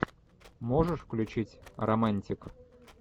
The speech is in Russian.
можешь включить романтик